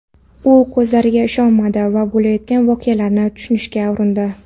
U ko‘zlariga ishonmadi va bo‘layotgan voqealarni tushunishga urindi.